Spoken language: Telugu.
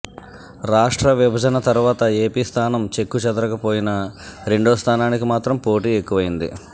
రాష్ట్ర విభజన తర్వాత ఏపి స్థానం చెక్కు చెదరకపోయినా రెండో స్థానానికి మాత్రం పోటీ ఎక్కువైంది